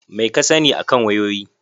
Meh ka sani akan wayoyi?